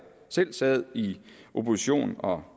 sad i opposition og